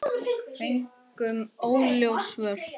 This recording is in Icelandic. Fengum óljós svör.